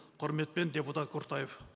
құрметпен депутат құртаев